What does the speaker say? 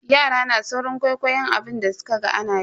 Yara na saurin kwaikwayon abin da sukaga anayi.